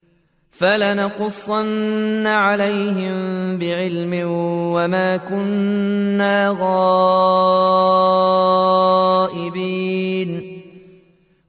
فَلَنَقُصَّنَّ عَلَيْهِم بِعِلْمٍ ۖ وَمَا كُنَّا غَائِبِينَ